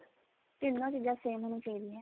ਤਿੰਨੋ ਚੀਜਾਂ same ਹੋਣੀਆ ਚਾਹੀਦੀਆ